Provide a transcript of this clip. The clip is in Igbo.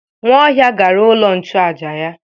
Nwaohia gara ulo nchuaja ya.